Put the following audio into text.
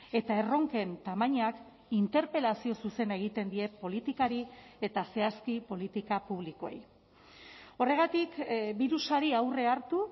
eta erronken tamainak interpelazio zuzena egiten die politikari eta zehazki politika publikoei horregatik birusari aurre hartu